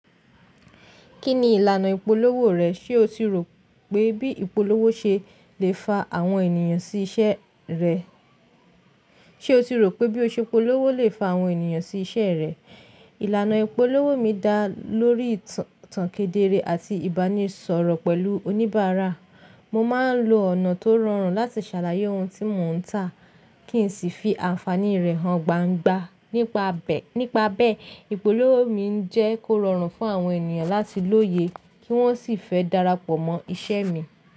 Kí ni ìlànà ìpolówó rẹ̀? Ṣé o ti rò pé bí ìpolówó ṣe lè fa àwọn ènìyàn sí iṣẹ́ rẹ̀? Ṣé o ti rò pé bí ìpolówó lè fa àwọn ènìyàn sí iṣẹ́ rẹ̀? Ìlànà ìpolówó mi dá lórí ìtànkedere àti ìbánisọ̀rọ̀ pẹ̀lú oníbàárà. Mo máa ń lo ọ̀nà tó rọrùn láti ṣàlàyé ohun tí mò ń tà kí n sì fi àǹfààní rẹ̀ hàn gbangba. Nípa bẹ́ẹ̀, ìpolówó mi ń jẹ́ kó rọrùn fún àwọn ènìyàn láti lóye kí wọ́n sì fẹ́ darapọ̀ mọ́ iṣẹ́ mi.